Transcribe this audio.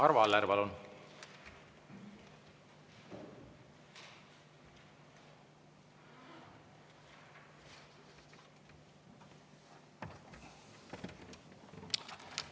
Arvo Aller, palun!